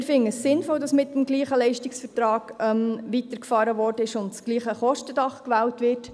Wir finden es sinnvoll, dass mit dem gleichen Leistungsvertrag weitergefahren wurde und das gleiche Kostendach gewählt wird.